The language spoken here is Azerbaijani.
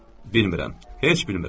Bilmirəm, heç bilmirəm.